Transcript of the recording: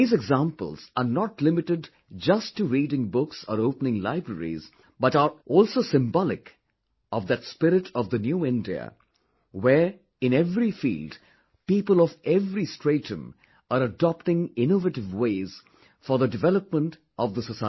These examples are not limited just to reading books or opening libraries, but are also symbolic of that spirit of the New India, where in every field, people of every stratum are adopting innovative ways for the development of the society